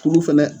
Kuru fɛnɛ